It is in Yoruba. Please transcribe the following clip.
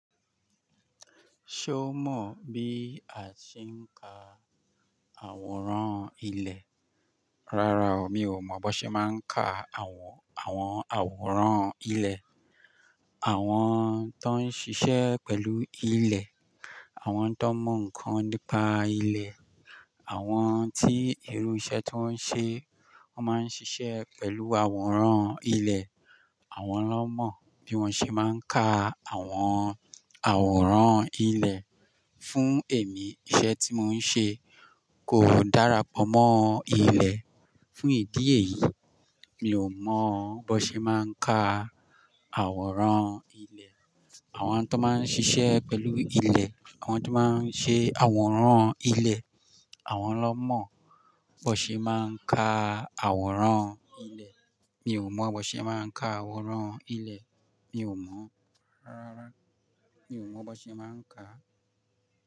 Ṣé o mọ̀ bí a ṣe ń ka àwòrán ilẹ̀? Rárá o, mi ò mọ̀ bó ṣe máa ń ka àwọn, àwọn àwòrán ilẹ̀. Àwọn tó ń ṣiṣẹ́ pẹ̀lú ilẹ̀, àwọn tó mọ ǹkan nípa ilẹ̀, àwọn tí irú iṣẹ́ tó ń ṣe wọ́n máa ń ṣiṣẹ́ pẹ̀lú àwòrán ilẹ̀, àwọn ló mọ̀ bí wọ́n ṣe máa ń ka àwọn àwòrán ilẹ̀. Fún èmi iṣẹ́ tí mò ń ṣe kò dára pọ̀ mọ́ ilẹ̀. Fún ìdí èyí, mi ò mọ̀ bó ṣe máa ń ka àwòrán ilẹ̀. Àwọn tó máa ń ṣiṣẹ́ pẹ̀lú ilẹ̀, àwọn tó máa ń ṣe àwòrán ilẹ̀, àwọn ló mọ̀ bó ṣe máa ń ka àwòrán ilẹ̀. Mi ò mọ̀ bó ṣe máa ń ka àwòrán ilẹ̀. Mi ò mọ̀. Rárá, mi ò mọ̀ bó ṣe máa ń ka.